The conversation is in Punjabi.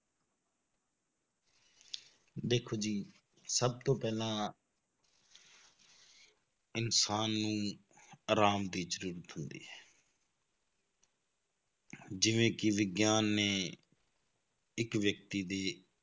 ਦੇਖੋ ਜੀ ਸਭ ਤੋਂ ਪਹਿਲਾਂ ਇਨਸਾਨ ਨੂੰ ਆਰਾਮ ਦੀ ਜ਼ਰੂਰਤ ਹੁੰਦੀ ਹੈ ਜਿਵੇਂ ਕਿ ਵਿਗਿਆਨ ਨੇ ਇੱਕ ਵਿਅਕਤੀ ਦੀ